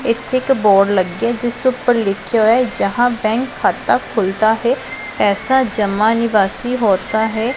ਇੱਥੇ ਇੱਕ ਬੋਰਡ ਲੱਗਿਆ ਐ ਜਿਸ ਉੱਪਰ ਲਿੱਖਿਆ ਹੋਇਆ ਹੈ ਜਹਾਂ ਬੈਂਕ ਖਾਤਾ ਖੁਲਤਾ ਹੈ ਪੈਸਾ ਜਮਾਂ ਨਿਵਾਸੀ ਹੋਤਾ ਹੈ।